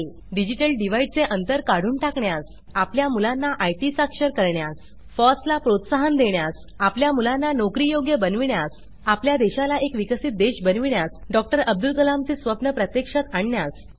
digital divide चे अंतर काढून टाकण्यास आपल्या मुलांना आयटी साक्षर करण्यास फॉस ला प्रोत्साहन देण्यास आपल्या मुलांना नोकरियोग्य बनविण्यास आपल्या देशाला एक विकसित देश बनविण्यास डॉ अब्दुल कलाम चे स्वप्न प्रत्यक्षात आणण्यास